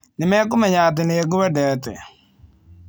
Nĩmekũmenya atĩ nĩngwendete.